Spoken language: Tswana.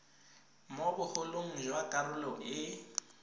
mo bogolong jwa karolo e